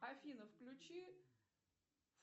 афина включи